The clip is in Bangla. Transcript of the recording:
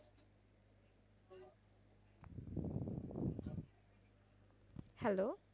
Hello?